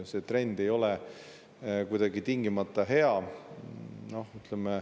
See trend ei ole tingimata hea.